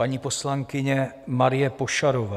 Paní poslankyně Marie Pošarová.